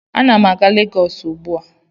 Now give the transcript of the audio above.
Ana m a-ga Legọs ugbu a